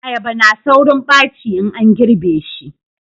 ayaba na saurin baci in an girbe shi